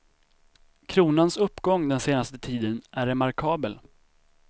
Kronans uppgång den senaste tiden är remarkabel.